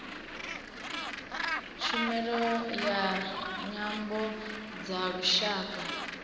tshumelo ya nyambo dza lushaka